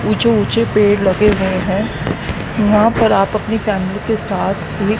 ऊंचे-ऊंचे पेड़ लगे हुए हैं। यहां पर आप अपनी फैमिली के साथ भी--